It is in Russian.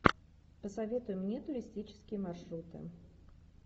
посоветуй мне туристические маршруты